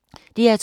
DR2